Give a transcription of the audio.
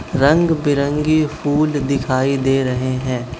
रंग बिरंगी फूल दिखाई दे रहे हैं।